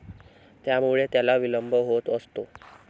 त्यामुळे त्याला विलंब होत असतो.